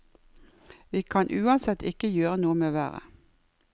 Vi kan uansett ikke gjøre noe med været.